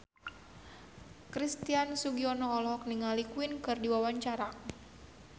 Christian Sugiono olohok ningali Queen keur diwawancara